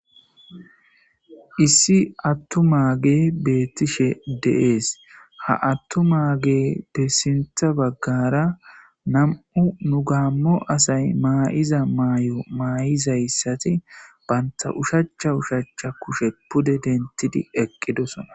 issi gatta e beettishe deees ha attu maage de sintha baggara nam7u nu gaammo asay maayiza maay7o maay7izayssati baynta ushacha ushacha kushe pude dentidi eqqidosona